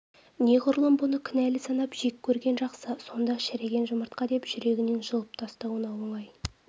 неғұрлым бұны кінәлі санап жек көрген жақсы сонда шіріген жұмыртқа деп жүрегінен жұлып тастауына оңай